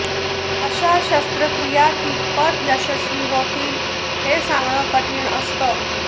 अशा शस्त्रक्रिया कितपत यशस्वी होतील हे सांगणं कठीण असतं